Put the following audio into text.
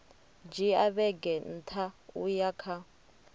dzhia vhege nṋa uya kha